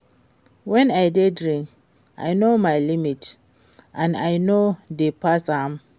Wen I dey drink I no my limit and I no dey pass am